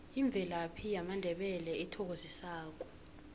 imvelaphi yamandebele ethokozisako